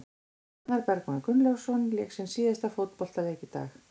Arnar Bergmann Gunnlaugsson lék sinn síðasta fótboltaleik í dag.